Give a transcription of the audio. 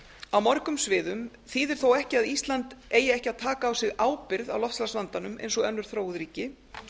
á mörgum sviðum þýðir þó ekki að ísland eigi ekki að taka á sig ábyrgð á loftslagsvandanum eins og áður þróuð ríki